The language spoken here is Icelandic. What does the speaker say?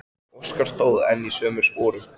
Óskar stóð enn í sömu sporum.